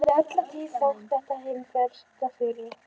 Henni hafði alla tíð þótt þetta hin mesta firra.